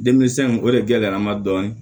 Denmisɛnw o de gɛlɛya n ma dɔɔnin